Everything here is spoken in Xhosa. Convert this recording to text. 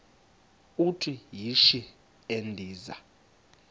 uthi yishi endiza